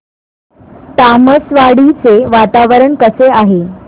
तामसवाडी चे वातावरण कसे आहे